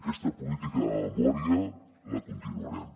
aquesta política de memòria la continuarem